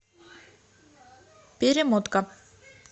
перемотка